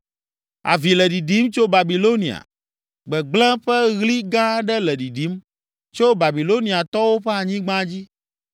“Avi le ɖiɖim tso Babilonia, gbegblẽ ƒe ɣli gã aɖe le ɖiɖim tso Babiloniatɔwo ƒe anyigba dzi.